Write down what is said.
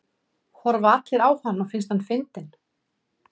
Horfa allir á hann og finnst hann fyndinn?